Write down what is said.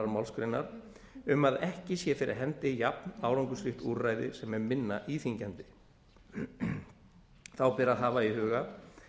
málsgrein um að ekki sé fyrir hendi jafnárangursríkt úrræði sem er minna íþyngjandi þá ber að hafa í huga